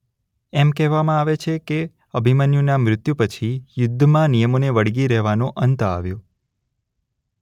એમ કહેવામાં આવે છે અભિમન્યુના મૃત્યુ પછી યુદ્ધમાં નિયમોને વળગી રહેવાનો અંત આવ્યો.